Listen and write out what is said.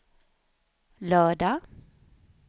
lördag